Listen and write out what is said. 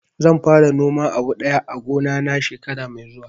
Zan fara noman abu daya a gona na shekara mai zuwa